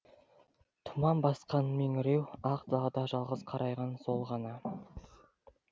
тұман басқан меңіреу ақ далада жалғыз қарайған сол ғана